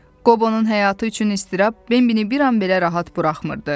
Qobonun həyatı üçün istirab Bembini bir an belə rahat buraxmırdı.